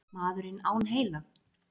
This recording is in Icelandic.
Maðurinn án heila?